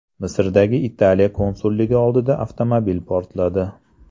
Misrdagi Italiya konsulligi oldida avtomobil portladi.